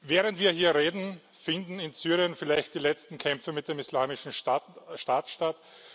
Während wir hier reden, finden in Syrien vielleicht die letzten Kämpfe mit dem Islamischen Staat statt